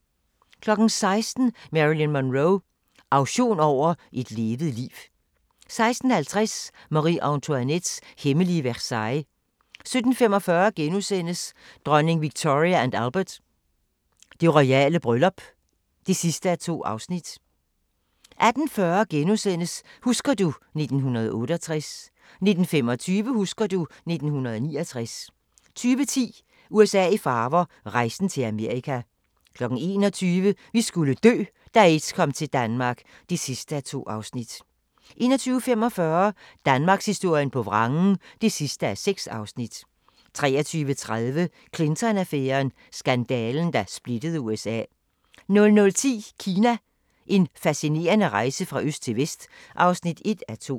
16:00: Marilyn Monroe – auktion over et levet liv 16:50: Marie-Antoinettes hemmelige Versailles 17:45: Dronning Victoria & Albert: Det royale bryllup (2:2)* 18:40: Husker du ... 1968 * 19:25: Husker du ... 1969 20:10: USA i farver – rejsen til Amerika 21:00: Vi skulle dø - da aids kom til Danmark (2:2) 21:45: Danmarkshistorien på vrangen (6:6) 23:30: Clinton-affæren: Skandalen, der splittede USA 00:10: Kina – En fascinerende rejse fra øst til vest (1:2)